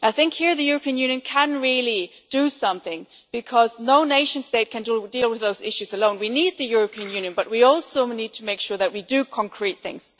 I think here the European Union can really do something, because no nation state can deal with those issues alone. We need the European Union, but we also need to make sure that we do concrete things.